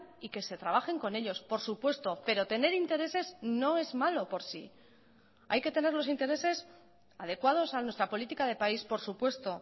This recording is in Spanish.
y que se trabajen con ellos por supuesto pero tener intereses no es malo por sí hay que tener los intereses adecuados a nuestra política de país por supuesto